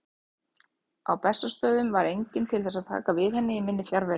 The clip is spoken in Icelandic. Á Bessastöðum var enginn til þess að taka við henni í minni fjarveru.